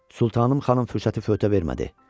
Sultanım xanım fürsəti fövtə vermədi.